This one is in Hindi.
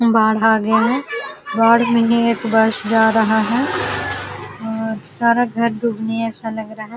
बाढ़ आ गया है। बाढ़ में ये एक बस जा रहा है और सारा घर डूबने जैसा लग रहा है।